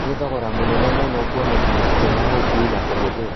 Nĩ thogora mũnene mũno kwonekana, njĩra ya ũũkui na kũhũthĩra